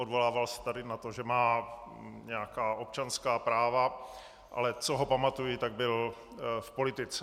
Odvolával se tady na to, že má nějaká občanská práva, ale co ho pamatuji, tak byl v politice.